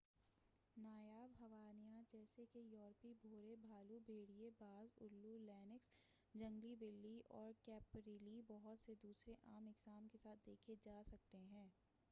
نایاب حیوانات جیسے کہ یورپی بھورے بھالو بھیڑیے باز الو لینکس جنگلی بلی اور کیپریلی بہت سے دوسرے عام اقسام کے ساتھ دیکھے جا سکتے ہیں